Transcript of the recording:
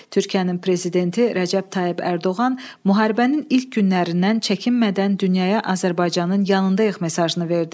Türkiyənin Prezidenti Rəcəb Tayyib Ərdoğan müharibənin ilk günlərindən çəkinmədən dünyaya Azərbaycanın yanındayıq mesajını verdi.